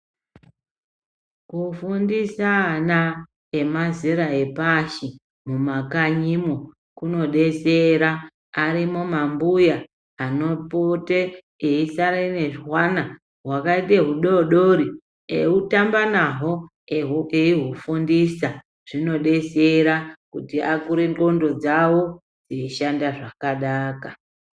Kufundisa ana emazera epashi mumakanyimo kunodetsera .Arimwo mambuya anopote eisara nezwana hwakaite hudodori eitamba nahwo eihufundisa .Zvinodetsera kuti akure nxondo dzawo dzeishanda zvakanaka.